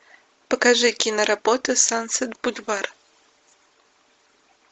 покажи киноработы сансет бульвар